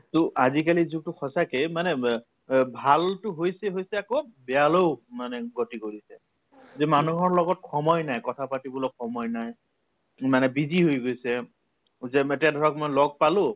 to আজিকালিৰ যুগতো সঁচাকে মানে ব অ ভালতো হৈছে হৈছে আকৌ বেয়ালৈও মানে গতি কৰিছে যে মানুহৰ লগত সময় নাই কথাপাতিবলৈ সময় নাই ইমানে busy হৈ গৈছে যে এতিয়া ধৰক মই লগ পালো